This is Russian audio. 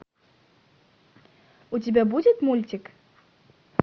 у тебя будет мультик